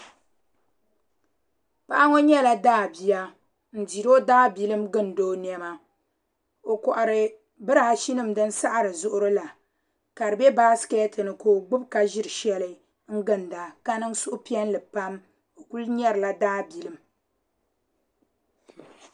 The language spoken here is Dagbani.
Paɣa ŋɔ nyɛla daabia ʒiri o daabilim n-gindi o nɛma. O kɔhiri biraashinima din sahiri zuɣiri la ka di be baasikɛti ni ka o gbibi ka ʒiri shɛli n-ginda ka niŋ suhupiɛlli pam. O kuli nyarila daabilim.